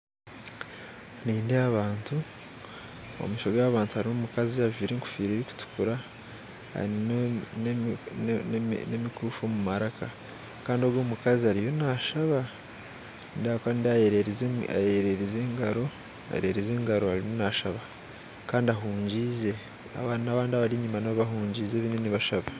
Nindeeba abantu omumaisho gabo abantu harumu omukazi ajwaire engoffira erukutukura aine nemikuufu omumaraka Kandi ogwe omukazi ariyo nashaba nindeeba ahakuba nindeeba ayererize engaro eyererize engaro arumu nashaba Kandi ahungiize aba n'abandi abaryenyuma nabyo bahungiize bariyo nibashaba.